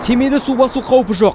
семейде су басу қаупі жоқ